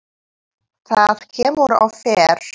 Það kemur og fer.